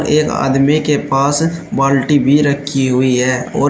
एक आदमी के पास बाल्टी भी रखी हुई है और --